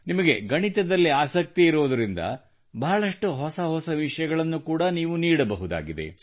ನಿಮಗೆ ಗಣಿತದಲ್ಲಿ ಆಸಕ್ತಿ ಇರುವುದರಿಂದ ಬಹಳಷ್ಟು ಹೊಸ ಹೊಸ ವಿಷಯಗಳನ್ನು ಕೂಡಾ ನೀವು ನೀಡಬಹುದಾಗಿದೆ